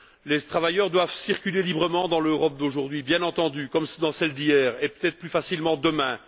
Les travailleurs doivent circuler librement dans l'Europe d'aujourd'hui, bien entendu, comme dans celle d'hier, et peut être plus facilement demain.